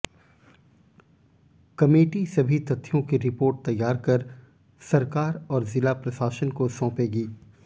committee सभी तथ्यों की रिपोर्ट तैयार कर सरकार और जिला प्रशासन को सौंपेगी